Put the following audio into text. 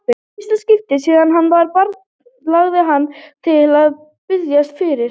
Í fyrsta skipti síðan hann var barn langaði hann til að biðjast fyrir.